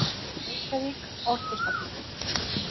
Reykjavík: Orkustofnun.